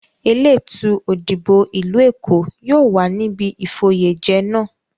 Elétùú Òdìbò ìlú Èkó yóò wà níbi ìfoyèjẹ náà.